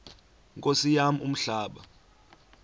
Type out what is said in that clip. nkosi yam umhlaba